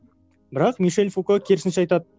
бірақ мишель фуко керісінше айтады